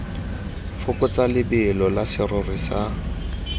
fokotsa lebelo la serori sa